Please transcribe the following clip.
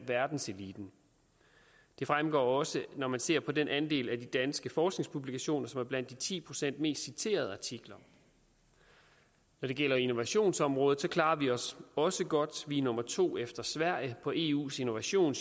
verdenseliten det fremgår også når man ser på den andel af de danske forskningspublikationer som er blandt de ti procent mest citerede artikler når det gælder innovationsområdet klarer vi os også godt vi er nummer to efter sverige på eus innovation